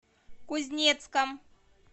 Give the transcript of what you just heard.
кузнецком